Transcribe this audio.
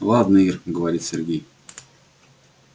ладно ир говорит сергей